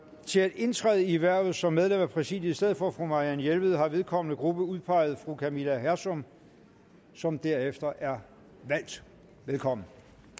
til at indtræde i hvervet som medlem af præsidiet i stedet for fru marianne jelved har vedkommende gruppe udpeget fru camilla hersom som derefter er valgt velkommen